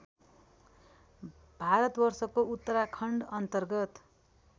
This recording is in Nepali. भारतवर्षको उत्तराखण्डअन्तर्गत